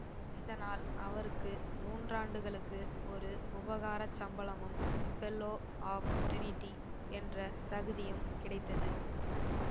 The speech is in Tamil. இதனால் அவருக்கு மூன்றாண்டுகளுக்கு ஒரு உபகாரச்சம்பளமும் ஃபெல்லோ ஆஃப் ட்ரினிடி என்ற தகுதியும் கிடைத்தது